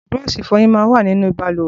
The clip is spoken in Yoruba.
Búrọ́ọ̀ṣi ìfọyín mà n wà ninú bàlùwẹ̀